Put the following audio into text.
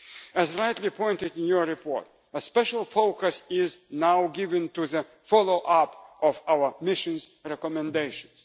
missions. As rightly pointed out in your report, a special focus is now given to the follow up of our missions' recommendations.